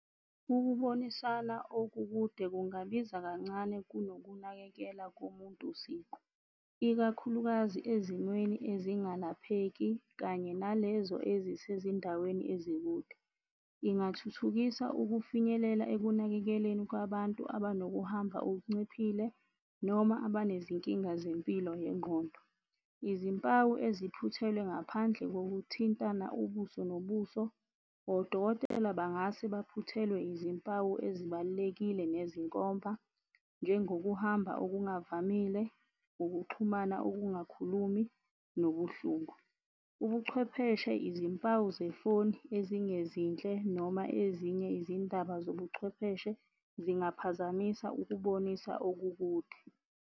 Ukubonisana okukude kungabiza kancane kunokunakekela komuntu siqu, ikakhulukazi ezimweni esingalapheki kanye nalezo ezisezindaweni ezikude. Ingathuthukisa ukufinyelela ekunakekeleni kwabantu abanokuhamba okunciphile noma abanezinkinga zempilo ngengqondo. Izimpawu eziphuthelwe ngaphandle ngokuthintana ubuso nobuso, odokotela bangase baphuthelwe izimpawu ezibalulekile nezinkomba njengokuhamba okungavamile, ukuxhumana okungakhulumi nobuhlungu. Ubuchwepheshe, izimpawu zefoni ezingezinhle noma ezinye izindaba zobuchwepheshe zingaphazamisa ukubonisa okukude.